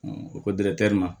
O ko ma